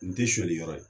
N te suɲɛni yɔrɔ ye